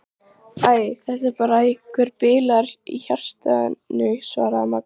Æ, hann var eitthvað bilaður í hjartanu svaraði Magga.